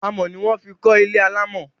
Amọ̀ ni wọ́n fi kọ́ ilé alámọ̀